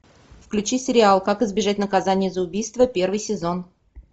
включи сериал как избежать наказания за убийство первый сезон